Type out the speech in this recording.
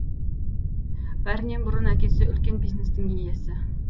бәрінен бұрын әкесі үлкен бизнестің иесі